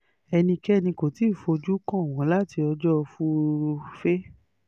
ẹnikẹ́ni kò tí ì fojú kàn wọ́n láti ọjọ́ furuufé